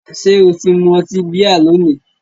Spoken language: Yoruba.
Ṣé o ti mu ọtí bíà lónìí?